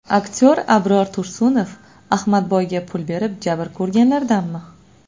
Aktyor Abror Tursunov Ahmadboyga pul berib, jabr ko‘rganlardanmi?